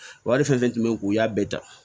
Wari fɛn fɛn tun bɛ yen u y'a bɛɛ dan